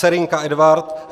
Serynek Edvard